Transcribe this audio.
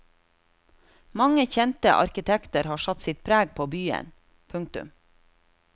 Mange kjente arkitekter har satt sitt preg på byen. punktum